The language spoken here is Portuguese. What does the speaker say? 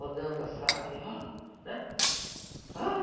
Rodando a saia. Ah, né? Ah!